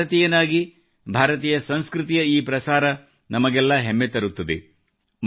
ಒಬ್ಬ ಭಾರತೀಯನಾಗಿ ಭಾರತೀಯ ಸಂಸ್ಕೃತಿಯ ಈ ಪ್ರಸಾರ ನಮಗೆಲ್ಲ ಹೆಮ್ಮೆ ತರುತ್ತದೆ